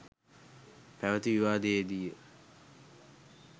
පැවති විවාදයේදීය.